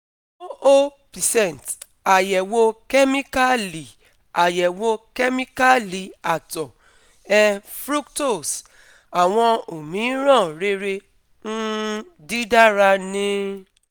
zero percent Ayẹwo Kemikali Ayẹwo Kemikali Atọ um Fructose, Awọn omiiran Rere um Didara Nil